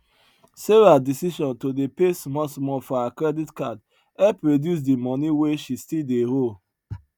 sarah decision to dey pay small small for her credit card help reduce di money wey she still dey owe